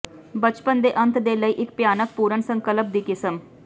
ਬਚਪਨ ਦੇ ਅੰਤ ਦੇ ਲਈ ਇੱਕ ਭਿਆਨਕ ਪੂਰਨ ਸੰਕਲਪ ਦੀ ਕਿਸਮ